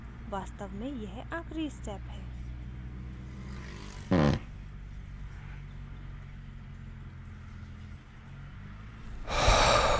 वास्तव में यह आखिरी step है